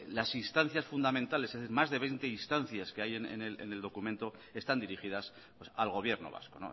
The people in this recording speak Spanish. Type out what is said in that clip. las instancias fundamentales más de veinte instancias que hay en el documento están dirigidas al gobierno vasco